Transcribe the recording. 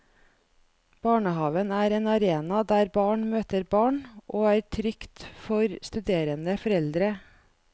Barnehaven er en arena der barn møter barn, og er trygt for studerende foreldre.